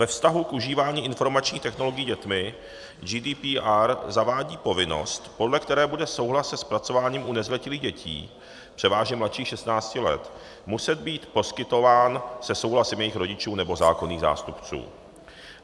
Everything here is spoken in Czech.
Ve vztahu k užívání informačních technologií dětmi GDPR zavádí povinnost, podle které bude souhlas se zpracováním u nezletilých dětí, převážně mladších 16 let, muset být poskytován se souhlasem jejich rodičů nebo zákonných zástupců.